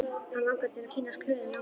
Hann langar til að kynnast Klöru nánar.